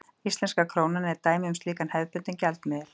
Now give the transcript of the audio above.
Íslenska krónan er dæmi um slíkan hefðbundinn gjaldmiðil.